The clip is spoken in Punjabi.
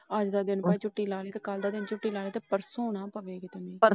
ਅੱਜ ਦਾ ਦਿਨ ਝੁੱਟੀ ਲਾਵੇ ਤੇ ਕੱਲ ਦਾ ਦਿਨ ਝੁੱਟੀ ਲਾਵੇ ਤੇ ਪਰਸੋ ਨਾ ਪਵੇ ਕਿਤੇ ਮੀਹ।